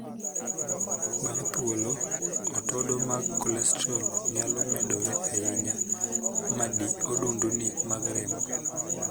Bang' thuolo, otodo mag kolestrol nyalo medore ahinya ma dii odundni mag remo